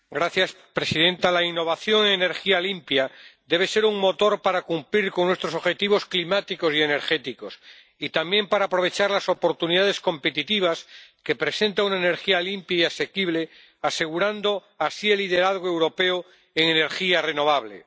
Señora presidenta, la innovación en energía limpia debe ser un motor para cumplir con nuestros objetivos climáticos y energéticos, y también para aprovechar las oportunidades competitivas que presenta una energía limpia y asequible, asegurando así el liderazgo europeo en energía renovable.